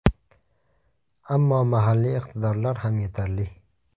Ammo mahalliy iqtidorlar ham yetarli.